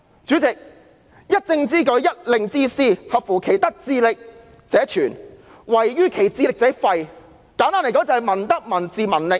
主席，"一政之舉，一令之施，合乎其德智力者存，違於其德智力者廢"，簡單而言，就是民德、民智、民力。